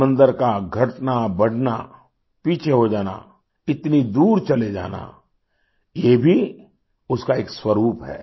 समंदर का घटना बढ़ना पीछे हो जाना इतनी दूर चले जाना ये भी उसका एक स्वरुप है